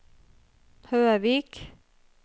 Høvik